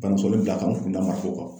Banasoli bila ka n kun da marakɔ kan.